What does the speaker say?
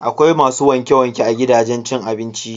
Akwai masu wanke-wanke a gidajen cin abinci.